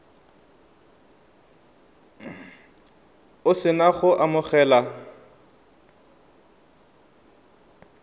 o se na go amogela